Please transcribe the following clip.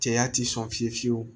Cɛya tɛ sɔn fiye fiye fiye fiyewu